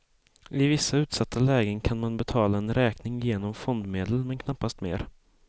I vissa utsatta lägen kan man betala en räkning, genom fondmedel men knappast mer.